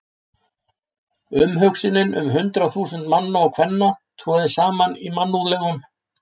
Umhugsunin um hundruð þúsunda manna og kvenna troðið saman í mannúðlegum